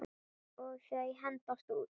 Og þau hendast út.